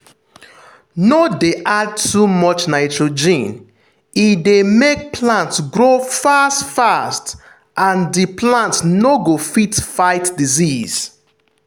no dey add too much nitrogen; e dey make plant grow fast-fast and the plant no go fit fight disease.